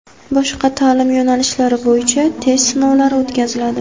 boshqa taʼlim yo‘nalishlari bo‘yicha test sinovlari o‘tkaziladi.